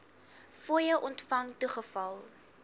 fooie ontvang toegeval